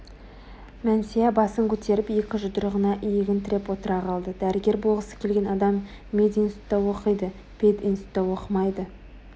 мәнсия басын көтеріп екі жұдырығына иегін тіреп отыра қалды дәрігер болғысы келген адам мединститутта оқиды пединститутта оқымайды